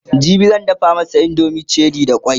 jibi zan dafa masu indomin cherie da kwai